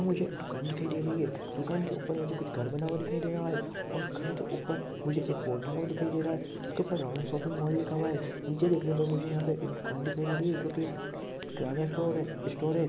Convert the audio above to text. मुझे दुकान दिखाई दे रही है दुकान के ऊपर मुझे कुछ घर बना हुआ दिखाई दे रहा है और घर के ऊपर मुझे एक बोर्ड लगा हुआ दिखाई दे रहा है जिसके ऊपर राम शौपिंग मॉल लिखा हुआ है नीचे देखने पर मुझे यहाँ पे एक दुकान दिखाई दे रही है जो की किराना स्टोर है स्टोर है।